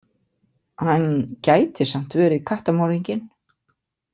Hann gæti samt verið kattamorðinginn.